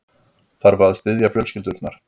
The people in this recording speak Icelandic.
Þarf að styðja fjölskyldurnar